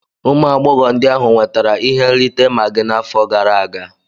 Ụmụ agbọghọ ndị ahụ nwetara ihe nrite Maggi n'afọ gara aga